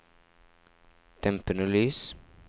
dempede lys